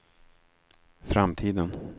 framtiden